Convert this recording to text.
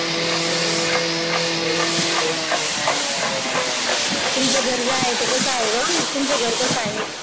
तुमचं घर जे आहे ते कसं आहे गं, तुमचं घर कसं आहे